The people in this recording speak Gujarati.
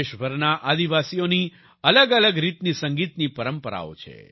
દેશભરના આદિવાસીઓની અલગઅલગ રીતની સંગીતની પરંપરાઓ છે